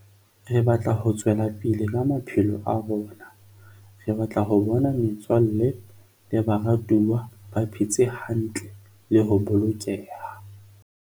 Re batla ho tswela pele ka maphelo a rona. Re batla ho bona metswalle le baratuwa ba phe tse hantle le ho bolokeha.